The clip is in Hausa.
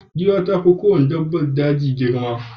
Giwa ta fi kowace dabbar daji girma.